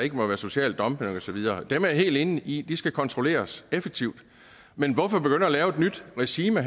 ikke må være social dumping og så videre det er jeg helt enig i skal kontrolleres effektivt men hvorfor begynde at lave et nyt regime